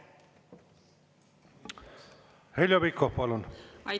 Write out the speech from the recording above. Heljo Pikhof, palun!